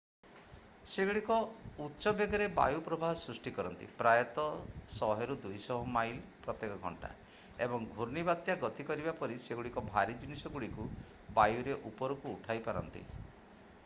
ସେଗୁଡ଼ିକ ଉଚ୍ଚ ବେଗରେ ବାୟୁ ପ୍ରବାହ ସୃଷ୍ଟି କରନ୍ତି ପ୍ରାୟତଃ 100-200 ମାଇଲ / ଘଣ୍ଟା ଏବଂ ଘୂର୍ଣ୍ଣିବାତ୍ୟା ଗତି କରିବା ପରି ସେଗୁଡ଼ିକ ଭାରୀ ଜିନିଷଗୁଡ଼ିକୁ ବାୟୁରେ ଉପରକୁ ଉଠାଇ ପାରନ୍ତି ।